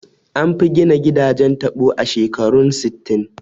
An fi gina gidajen taɓo a shekarun sittin